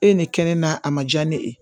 E ye ne kɛ ne na a ma diya ne ye